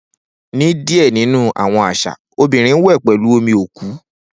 Ni diẹ ninu awọn aṣa, obinrin wẹ pẹlu omi oku.